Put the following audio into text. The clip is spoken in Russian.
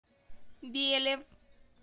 белев